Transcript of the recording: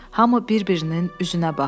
Hamı bir-birinin üzünə baxdı.